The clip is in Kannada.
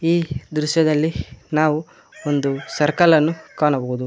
ಈ ದೃಶ್ಯದಲ್ಲಿ ನಾವು ಒಂದು ಸರ್ಕಲ್ ಅನ್ನು ಕಾಣಬಹುದು.